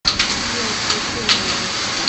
афина включи мэйби